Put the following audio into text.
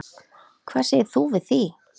Hvað segir þú við því?